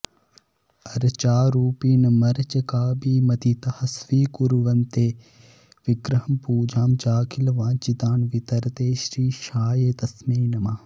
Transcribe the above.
अर्चारूपिणमर्चकाभिमतितः स्वीकुर्वते विग्रहं पूजां चाखिलवाञ्छितान् वितरते श्रीशाय तस्मै नमः